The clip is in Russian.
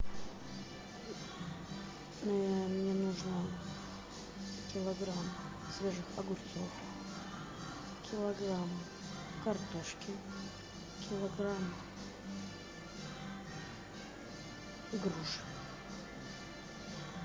мне нужно килограмм свежих огурцов килограмм картошки килограмм груш